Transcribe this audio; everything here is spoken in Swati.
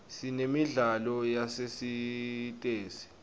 sinemidlalo yasesitesi